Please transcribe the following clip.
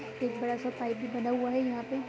एक बड़ा सा पाइप भी बना हुआ है यहाँ पे--